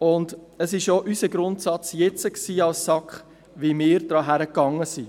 Es war auch jetzt unser Grundsatz für unsere Herangehensweise.